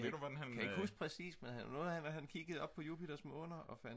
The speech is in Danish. jeg kan ikke præcist men det var noget med at han kiggede op på Jupiters måner og fandt